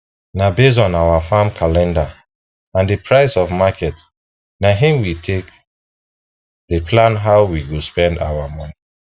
na based on our farm calendar and the price for market na him we take dey plan how we go spend our moni